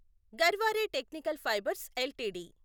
Garware technical fibres LTD